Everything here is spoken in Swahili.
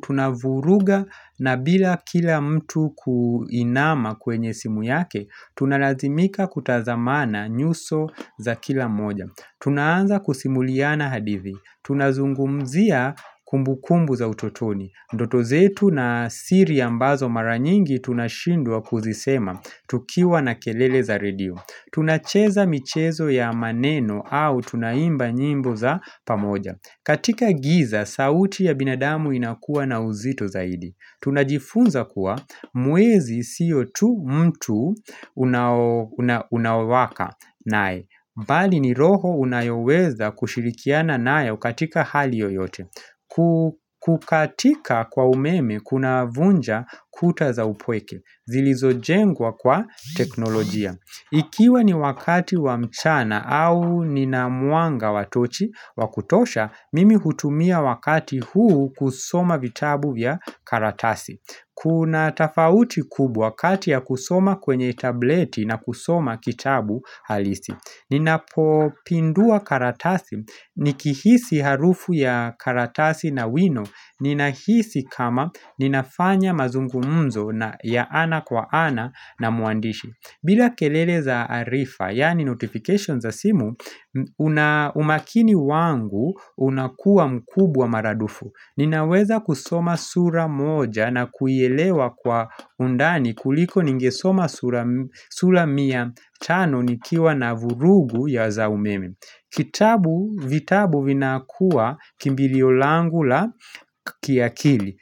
tunavuruga na bila kila mtu kuinama kwenye simu yake Tunalazimika kutazamana nyuso za kila moja tunaanza kusimuliana hadithi Tunazungumzia kumbukumbu za utotoni Ndoto zetu na siri ambazo mara nyingi tunashindwa kuzisema tukiwa na kelele za redio Tunacheza michezo ya maneno au tunaimba nyimbo za pamoja katika giza, sauti ya binadamu inakua na uzito zaidi Tunajifunza kuwa mwezi siyo tu mtu unaowaka nae mbali ni roho unayoweza kushirikiana nayo katika hali yoyote kukatika kwa umeme kunavunja kuta za upweke Zilizojengwa kwa teknolojia Ikiwa ni wakati wa mchana au nina mwanga wa tochi wa kutosha, mimi hutumia wakati huu kusoma vitabu vya karatasi Kuna tafauti kubwa kati ya kusoma kwenye tableti na kusoma kitabu halisi Ninapopindua karatasi, nikihisi harufu ya karatasi na wino Ninahisi kama ninafanya mazungumzo ya ana kwa ana na mwandishi bila kelele za arifa, yaani notifications za simu umakini wangu unakua mkubwa mara dufu Ninaweza kusoma sura moja na kuielewa kwa undani kuliko ningesoma sura mia tano nikiwa na vurugu ya za umeme Kitabu vitabu vinakuwa kimbilio langu la kiakili.